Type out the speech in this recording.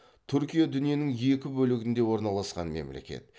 түркия дүниенің екі бөлігінде орналасқан мемлекет